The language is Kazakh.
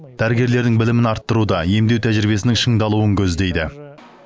дәрігерлердің білімін арттыруда емдеу тәжірибесінің шыңдалуын көздейді